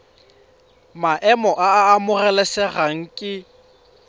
maemo a a amogelesegang ke